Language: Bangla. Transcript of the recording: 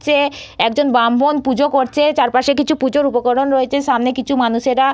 চে একজন ব্রাহ্মণ পুজো করছে চারপাশে কিছু পুজোর উপকরণ রয়েছে সামনে কিছু মানুষেরা--